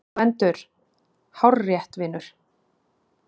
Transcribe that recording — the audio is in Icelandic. GVENDUR: Hárrétt, vinur!